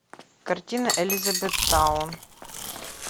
картина элизабеттаун